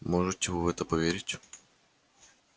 можете вы в это поверить